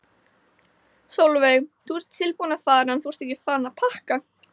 Sólveig: Þú ert tilbúinn að fara en þú ert ekki farinn að pakka?